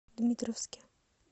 дмитровске